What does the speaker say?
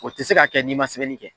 O tɛ se ka kɛ n'i man sɛbɛnni kɛ.